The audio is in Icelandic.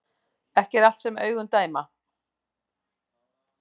Ekki er allt sem augun dæma